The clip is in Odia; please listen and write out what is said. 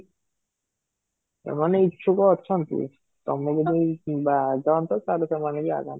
ସେମାନେ ଇଛୁକ ଅଛନ୍ତି ତମେ ଜଦି ବାହାରି ଯାଆନ୍ତ ତାହେଲେ ସେମାନେ ବି ଆଗାନ୍ତେ